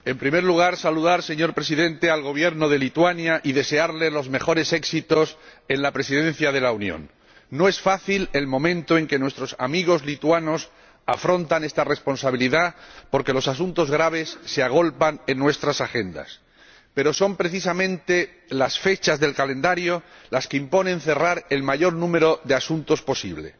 Señor Presidente, en primer lugar quiero saludar al Gobierno de Lituania y desearle los mejores éxitos en la Presidencia de la Unión. No es fácil el momento en que nuestros amigos lituanos afrontan esta responsabilidad, porque los asuntos graves se agolpan en nuestras agendas, pero son precisamente las fechas del calendario las que imponen cerrar el mayor número de asuntos posible.